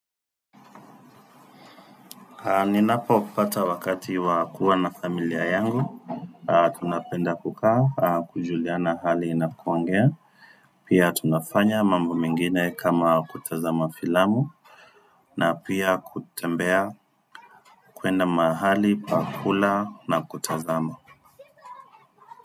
Ninapo pata wakati wa kuwa na familia yangu tunapenda kukaa kujuliana hali na kuongea. Pia tunafanya mambo mengine kama kutazama filamu. Na pia kutembea kwenda mahali, pakula na kutazama.